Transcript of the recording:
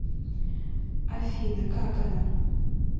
афина как она